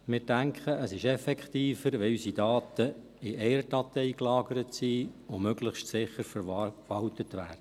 Wir denken, dass es effektiver ist, wenn unsere Daten in einer Datei gelagert sind und möglichst sicher verwaltet werden.